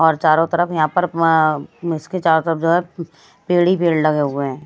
और चारों तरफ यहां पर अ उसके चारो तरफ जो है पेड़ ही लगे हुए है।